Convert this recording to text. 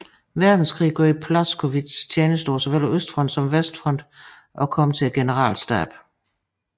Verdenskrig gjorde Blaskowitz tjeneste på såvel Østfronten som Vestfronten og kom til generalstaben